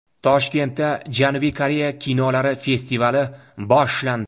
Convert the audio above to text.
Toshkentda Janubiy Koreya kinolari festivali boshlandi.